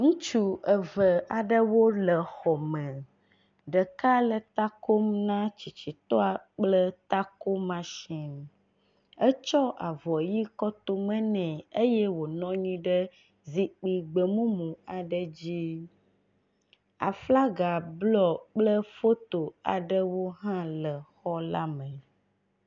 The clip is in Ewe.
Ŋutsu eve aɖewo le xɔ me, ɖeka le takom na tsitsitɔa kple tako machine. Etsɔ avɔɣi kɔtome nɛ eye wonɔnyi ɖe zikpi gbemumu aɖe dzi, aflaga bluɔ kple foto aɖewo hã le xɔ la me.